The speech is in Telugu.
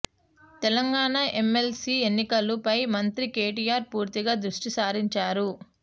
తెలంగాణ ఎమ్మెల్సీ ఎన్నికలు పై మంత్రి కేటీఆర్ పూర్తిగా దృష్టి సారించారు